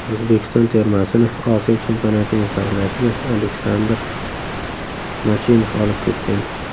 O‘zbekiston termasini Osiyo Chempionatining saralashiga Aleksandr Mochinov olib ketgan.